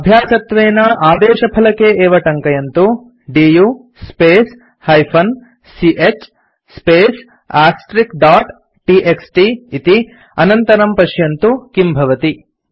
अभ्यासत्वेन आदेशफलके एवं टङ्कयन्तु दु स्पेस् -ch space टीएक्सटी इति अनन्तरं पश्यन्तु किं भवति